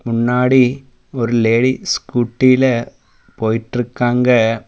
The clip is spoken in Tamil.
முன்னாடி ஒரு லேடி ஸ்கூட்டில போயிட்டுருக்காங்க.